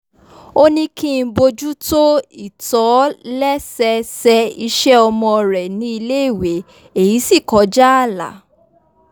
ó ní kí n bójútó ìtòlẹ́sẹẹsẹ iṣẹ́ ọmọ rẹ̀ ní iléèwé èyí sì kọjá ààlà